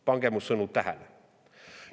Pange mu sõnu tähele!